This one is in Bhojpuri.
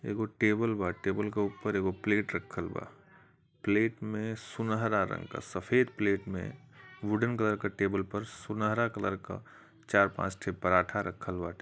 एगो टेबल बा टेबल के ऊपर एगो प्लेट रखल बा प्लेट में सुनहरा रंग का सफेद प्लेट में वुडेन कलर का टेबल पर सुनहरा कलर का चार पांच ठे पराठा रखल बाटे।